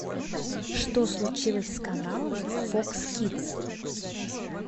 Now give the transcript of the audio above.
что случилось с каналом фокс кидс